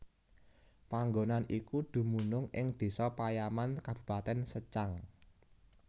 Panggonan iku dumunung ing Désa Payaman Kabupatèn Secang